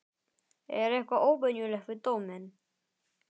Er eitthvað óvenjulegt við dóminn?